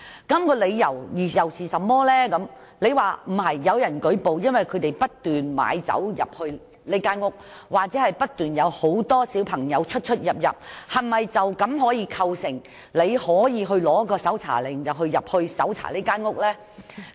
如果只是有人舉報，指不斷有人買酒進入該單位，又或不斷有很多青少年進出該單位，是否便可構成申請搜查令入屋搜查的理由？